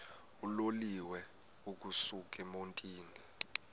uloliwe ukusuk emontini